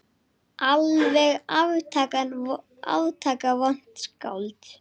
Alveg aftaka vont skáld.